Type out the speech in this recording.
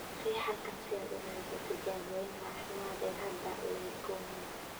Riix halkan si aad u raadiso tijaabooyinka caafimaad ee hadda ee leukemia.